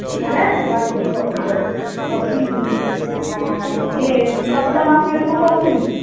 ହେଲା whatsapp ରେ ପଠେଇ ଦବ ଆଁ ହଉଛି ଇଏ ଆଁ କବିତା ମାଉସୀ ଘରକୁ କହୁଥିଲି